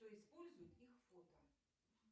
кто использует их фото